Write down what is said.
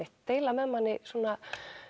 deila með manni svona